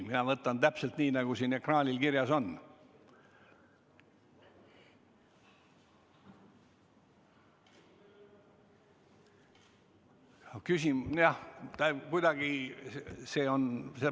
Mina võtan täpselt selles järjekorras, nagu siin ekraanil näha on.